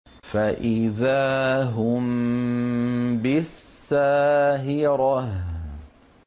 فَإِذَا هُم بِالسَّاهِرَةِ